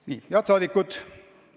Head rahvasaadikud!